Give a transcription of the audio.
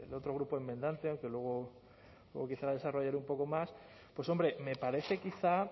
otro grupo enmendante aunque luego quizá desarrollaré un poco más pues hombre me parece quizá